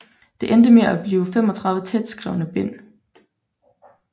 Det endte med at blive 35 tætskrevne bind